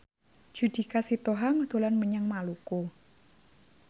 Judika Sitohang dolan menyang Maluku